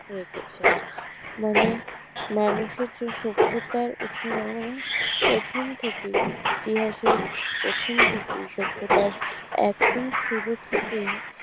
রেখেছে মানে মানুষের যে সভ্যতার উষ্ণ রমনে প্রথম থেকেই ইতিহাসের প্রথম থেকেই সভ্যতার একদম শুরু থেকেই